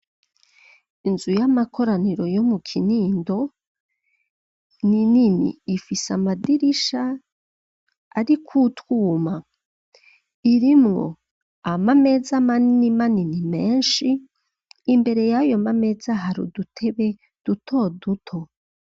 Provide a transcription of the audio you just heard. Inzu y'amakoraniro, yo mu Kinindo, ni nini; ifise amadirisha, ariko utwuma; irimwo amameza manini manini menshi, imbere y'ayo mameza, hari udutebe duto duto.